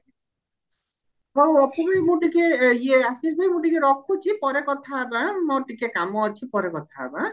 ହଉ ଭାଇ ମୁଁ ଟିକେ ଇଏ ଆଶିଷ ଭାଇ ମୁଁ ଟିକେ ରଖୁଚି ପରେ ଟିକେ କଥା ହବ ଆଁ ମୋର ଟିକେ କାମ ଅଛି ପରେ କଥା ହବ ଆଁ